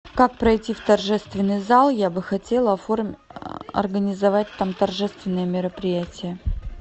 как пройти в торжественный зал я бы хотела организовать там торжественное мероприятие